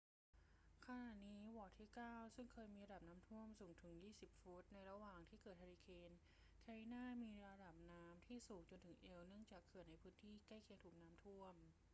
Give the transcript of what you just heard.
ขณะนี้ วอร์ดที่เก้าซึ่งเคยมีระดับน้ำท่วมสูงถึง 20 ฟุตในระหว่างที่เกิดเฮอร์ริเคนแคทรีนามีระดับน้ำที่สูงจนถึงเอวเนื่องจากเขื่อนในพื้นที่ใกล้เคียงถูกน้ำท่วม